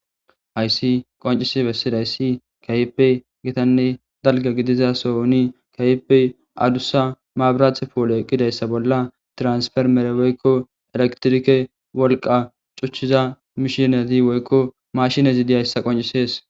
Haysi qonc'isi besizaysi kehipe gitane dalga gidiza Sohoni kehipe adusa mabrate poley eqidaysa bolan tiransfermer woyko electrike wolqa c'uchiza mishinezi woyko mashinezi diyaysa qonc'ses.